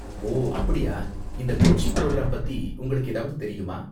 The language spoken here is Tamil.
ஓ, அப்படியா? இந்த கோச்சிங் புரோகிராம் பத்தி உங்களுக்கு ஏதாவது தெரியுமா?